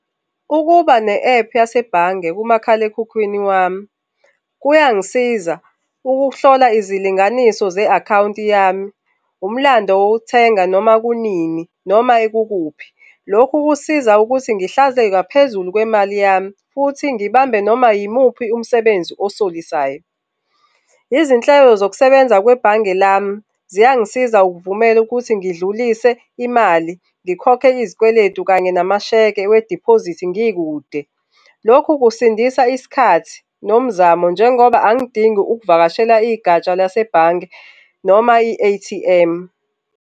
Ukuba ne-app yasebhange kumakhalekhukhwini wami, kuyangisiza ukuhlola izilinganiso ze-akhawunti yami, umlando wokuthenga noma kunini noma kukuphi, lokhu kusiza ukuthi ngihlaze ngaphezulu kwemali yami futhi ngibambe noma yimuphi umsebenzi osolisayo. Izinhlelo zokusebenza kwebhange lami ziyangisiza ukuvumela ukuthi ngidlulise imali, ngikhokhe izikweletu kanye namasheke wediphozithi ngikude. Lokhu kusindisa isikhathi nomzamo njengoba angidingi ukuvakashela igatsha lasebhange noma i-A_T_M.